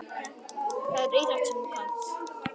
Það er íþrótt sem þú kannt.